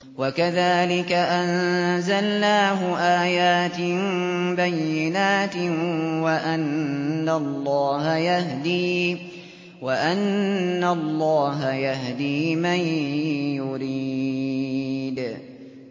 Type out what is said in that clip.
وَكَذَٰلِكَ أَنزَلْنَاهُ آيَاتٍ بَيِّنَاتٍ وَأَنَّ اللَّهَ يَهْدِي مَن يُرِيدُ